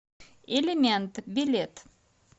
элемент билет